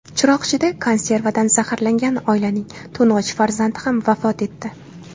Chiroqchida konservadan zaharlangan oilaning to‘ng‘ich farzandi ham vafot etdi.